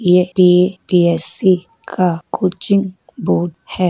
यह यू.पी.एस.सी. का coaching board है।